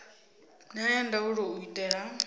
na ya ndaulo u itela